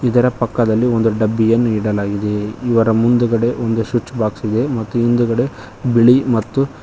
ಇದರ ಪಕ್ಕದಲ್ಲಿ ಒಂದು ಡಬ್ಬಿಯನ್ನು ಇಡಲಾಗಿದೆ ಇವರ ಮುಂದುಗಡೆ ಒಂದು ಸ್ವೀಚ್ ಬಾಕ್ಸ್ ಇದೆ ಹಿಂದಗಡೆ ಬಿಳಿ ಮತ್ತು--